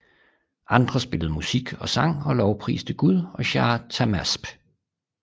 Andre spillede musik og sang og lovpriste Gud og Shāh Tahmāsp